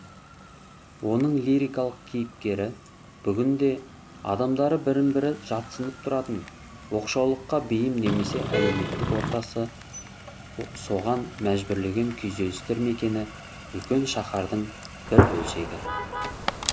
оның лирикалық кейіпкері бүгінде адамдары бірін бірі жатсынып тұратын оқшаулыққа бейім немесе әлеуметтік ортасы соған мәжбүрлеген күйзелістер мекені үлкен шаһардың бір бөлшегі